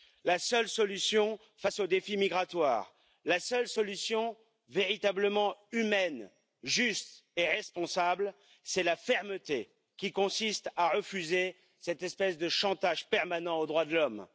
La seule solution face au défi migratoire, la seule solution véritablement humaine, juste et responsable, c'est la fermeté qui consiste à refuser cette espèce de chantage permanent aux droits de l'homme!